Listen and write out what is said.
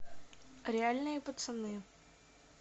реальные пацаны